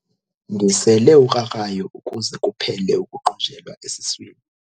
Ndisele ukrakrayo ukuze kuphele ukuqunjelwa esiswini.